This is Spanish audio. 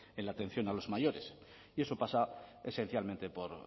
en la atención a los mayores y eso pasa esencialmente por